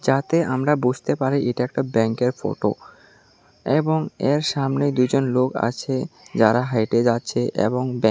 যাতে আমরা বুঝতে পারি এটা একটা ব্যাংকের ফটো এবং এর সামনে দুইজন লোক আছে যারা হাঁইটে যাচ্ছে এবং ব্যাংক --